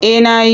Eh na yi.